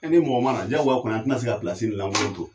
E ni mɔgɔ ma na jagoya kɔni an tena se ka pilasi lakolon to